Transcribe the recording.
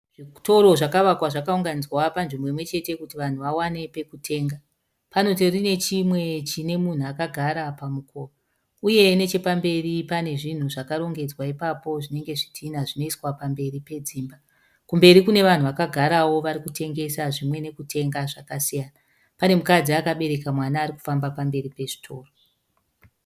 Zvitoro zvakavakwa zvakaunganidzwa panzvimbo imwechete kuti vanhu vawane pekutenga. Panotori nechimwe chinemunhu akagara pamukova uye nechepamberi panezvinhu zvakarongedzwa ipapo zvinenge zvidhina zvanoiswa pamberi pedzimba. Kumberi kunevanhu vakagarawo varikutengesa zvimwe nekutenga zvakasiyana. Pane mukadzi akabereka mwana arikufamba pamberi pezvitoro.